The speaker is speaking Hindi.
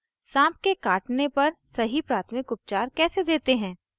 * साँप के काटने पर सही प्राथमिक उपचार case देते हैं